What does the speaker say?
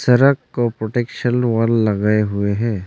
सरक को protection wall लगाए हुए है।